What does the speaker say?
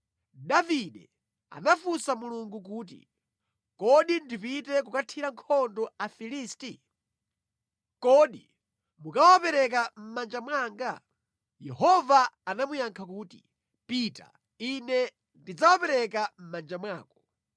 Davide anafunsa Mulungu kuti, “Kodi ndipite kukathira nkhondo Afilisti? Kodi mukawapereka mʼmanja mwanga?” Yehova anamuyankha kuti, “Pita, Ine ndidzawapereka mʼmanja mwako.”